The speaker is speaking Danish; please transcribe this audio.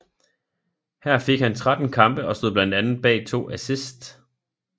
Her fik han 13 kampe og stod blandt andet bag to assists